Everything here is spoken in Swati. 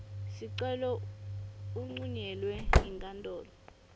sicelo uncunyelwe yinkantolo